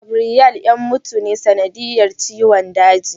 Gabriel yan mutu ta sanadiyar ciwon daji.